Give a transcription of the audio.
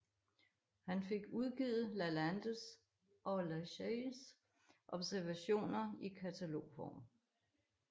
Han fik udgivet Lalandes og Lacailles observationer i katalogform